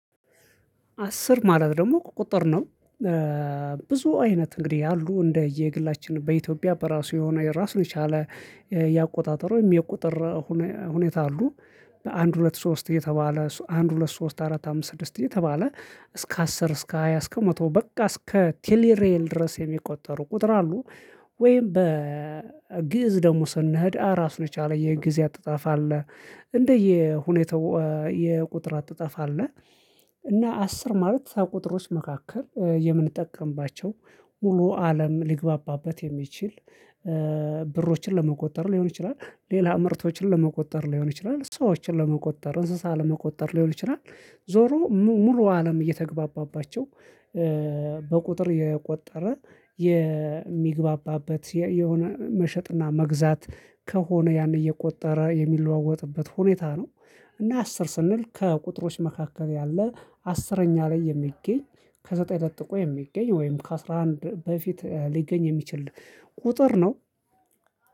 አስር ማለት ደግሞ ቁጥር ነው። ብዙ አይነት እንግዲህ ያሉ እንደየግላችን በኢትዮጵያ በራሱ የሆነ የራሱን የቻለ የአቆጣጠር ወይም የቁጥር ሁኔታ አሉ። በአንድ ሁለት ሶስት እየተባለ አንድ ሁለት ሶስት አራት አምስት ስድስት እየተባለ እስከ አስር እስከ ሃያ እስከ መቶ በቃ እስከ ቴሌሬል ድረስ የሚቆጠሩ ቁጥር አሉ። ወይም በግእዝ ደግሞ ስንሄድ ራሱ የቻለ የጊዜ አጥጣፋ አለ። እንደየ ሁኔታው የቁጥር አጣፍ አለ። እና አስር ማለት ቁጥሮች መካከል የምንጠቀምባቸው ሙሉ አለም ሊግባባበት የሚችል ብሮችን ለመቆጠር ሊሆን ይችላል። ሌላ ምርቶችን ለመቆጠር ሊሆን ይችላል ሰዎችን ለመቆጠር እንስሳ ለመቆጠር ሊሆን ይችላል። ዞሮ ሙሉ አለም እየተግባባባቸው በቁጥር የቆጠረ የሚግባባበት የሆነ መሸጥና መግዛት ከሆነ ያን እየቆጠረ የሚለዋወጥበት ሁኔታ ነው። እና አስር ስንል ከቁጥሮች መካከል ያለ አስረኛ ላይ የሚገኝ ከዘጠኝ ለጥቆ የሚገኝ ወይም ከአስራ አንድ በፊት ሊገኝ የሚችል ቁጥር ነው